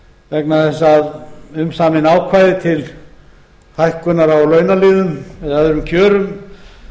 vegna þess að umsamin ákvæði til hækkunar á launaliðum eða öðrum kjörum